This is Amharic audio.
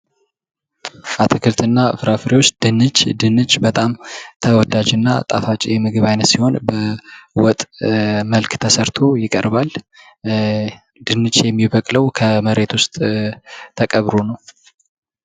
አትክልትና ፍራፍሬዎች፦ ድንች፦ ድንች በጣም ተወዳጅ እና ጣፋጭ የምግብ አይነት ሲሆን በወጥ መልክ ተሰርቶ ይቀርባል። ድንች የሚበቅለው ከመሬት ዉስጥ ተቀብሮ ነው፡: